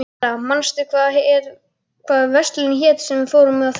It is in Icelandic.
Valgerða, manstu hvað verslunin hét sem við fórum í á þriðjudaginn?